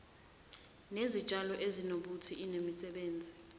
nezitshalo ezinobuthi inemisebenzi